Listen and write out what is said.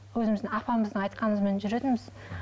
өзіміздің апамыздың айтқанымызбен жүретінбіз